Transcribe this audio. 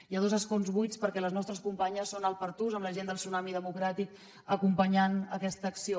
hi ha dos escons buits perquè les nostres companyes són al pertús amb la gent del tsunami democràtic acompanyant aquesta acció